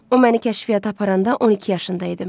O məni kəşfiyyata aparanda 12 yaşında idim.